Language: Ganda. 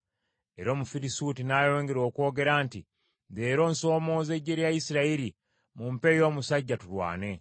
Era Omufirisuuti n’ayongera okwogera nti, “Leero, nsomooza eggye lya Isirayiri! Mumpeeyo omusajja tulwane.”